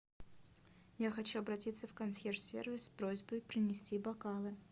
я хочу обратиться в консьерж сервис с просьбой принести бокалы